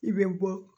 I bɛ bɔ